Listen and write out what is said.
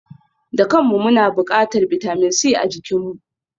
Dukanmu muna buƙatar bitamin C a jikinmu